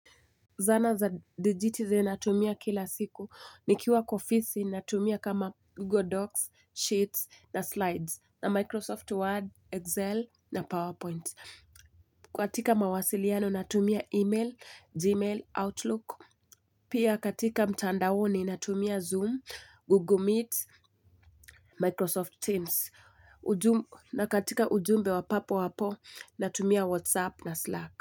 Zana za digiti zinatumia kila siku. Nikiwa kwa ofisi natumia kama Google Docs, Sheets na Slides na Microsoft Word, Excel na PowerPoint. Katika mawasiliano natumia email, Gmail, Outlook. Pia katika mtandaoni natumia Zoom, Google Meet, Microsoft Teams. Na katika ujumbe wa papo hapo natumia WhatsApp na Slack.